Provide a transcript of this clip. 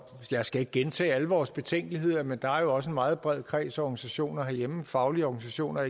jeg skal ikke gentage alle vores betænkeligheder men der er jo også en meget bred kreds af organisationer herhjemme faglige organisationer